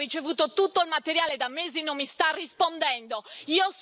Il suo ufficio ha ricevuto tutto il materiale da mesi e non mi sta rispondendo.